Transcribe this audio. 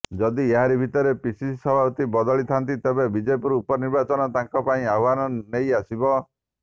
ଯଦି ଏହାରି ଭିତରେ ପିସିସି ସଭାପତି ବଦଳିଥାନ୍ତି ତେବେ ବିଜେପୁର ଉପନିର୍ବାଚନ ତାଙ୍କ ପାଇଁ ଆହ୍ୱାନ ନେଇ ଆସିବ